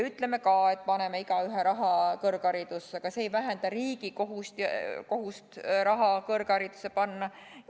Ütleme ka, et paneme igaühe raha kõrgharidusse, aga see ei vähenda riigi kohust raha kõrgharidusse panna.